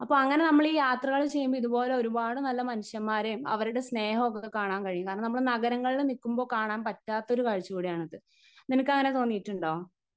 Speaker 1 അപ്പോ അങ്ങനെ നമ്മള് ഈ യാത്രകള് ചെയ്യുമ്പോ ഇതുപോലെ ഒരുപാട് നല്ല മനുഷ്യന്മാരേം അവരുടെ സ്നേഹവും ഒക്കെ കാണാൻ കഴിയും കാരണം നമ്മള് നഗരങ്ങളില് നിക്കുമ്പോ കാണാൻപറ്റാത്ത ഒരു കാഴ്ച കൂടിയാണത്. നിനക്കങ്ങനെ തോന്നിട്ടുണ്ടോ?